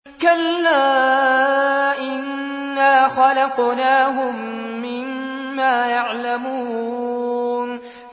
كَلَّا ۖ إِنَّا خَلَقْنَاهُم مِّمَّا يَعْلَمُونَ